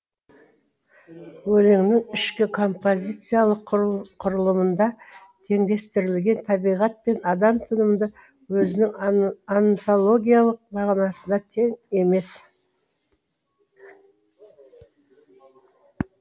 өлеңнің ішкі композициялық құрылымында теңдестірілген табиғат пен адам тынымы өзінің онтологиялық мағынасында тең емес